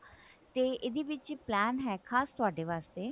ਇਹਦੇ ਵਿੱਚ plan ਹੈ ਖਾਸ ਤੁਹਾਡੇ ਵਾਸਤੇ